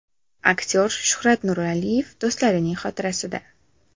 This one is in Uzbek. Aktyor Shuhrat Nuraliyev do‘stlarining xotirasida.